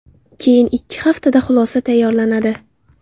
Keyin ikki haftada xulosa tayyorlanadi.